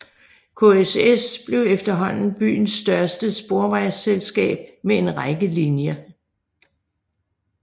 KSS blev efterhånden byens største sporvejsselskab med en række linjer